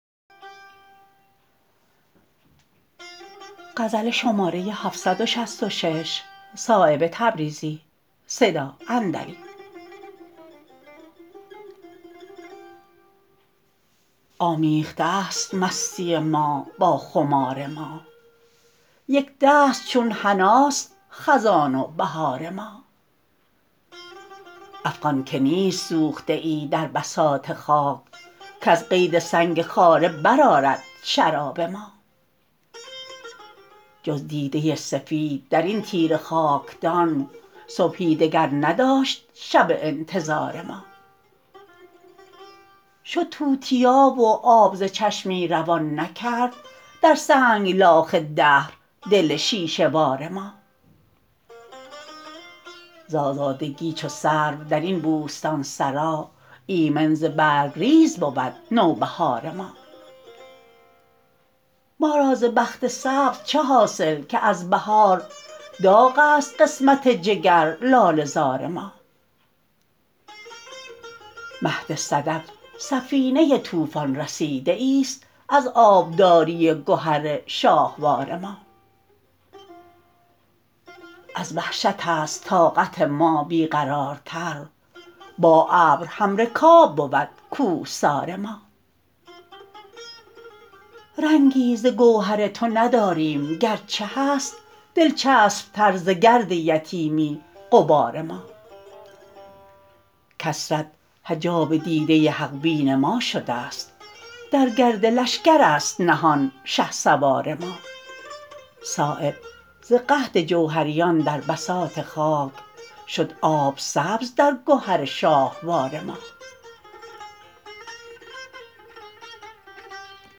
آمیخته است مستی ما با خمار ما یکدست چون حناست خزان و بهار ما افغان که نیست سوخته ای در بساط خاک کز قید سنگ خاره برآرد شراب ما جز دیده سفید درین تیره خاکدان صبحی دگر نداشت شب انتظار ما شد توتیا و آب ز چشمی روان نکرد در سنگلاخ دهر دل شیشه بار ما ز آزادگی چو سرو درین بوستانسرا ایمن ز برگریز بود نوبهار ما ما را ز بخت سبز چه حاصل که از بهار داغ است قسمت جگر لاله زار ما مهد صدف سفینه طوفان رسیده ای است از آبداری گهر شاهوار ما از وحشت است طاقت ما بی قرارتر با ابر همرکاب بود کوهسار ما رنگی ز گوهر تو نداریم گرچه هست دلچسب تر ز گرد یتیمی غبار ما کثرت حجاب دیده حق بین ما شده است در گرد لشکرست نهان شهسوار ما صایب ز قحط جوهریان در بساط خاک شد آب سبز در گهر شاهوار ما